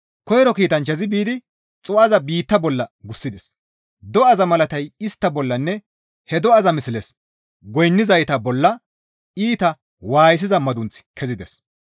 Koyro kiitanchchazi biidi xuu7aza biitta bolla gussides; do7aza malatay istta bollanne he do7aza misles goynnizayta bolla iita waayisiza madunththi kezides.